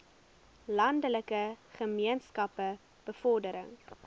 landelike gemeenskappe bevordering